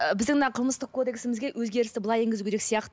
ыыы біздің мына қылмыстық кодексімізге өзгерісті былай енгізу керек сияқты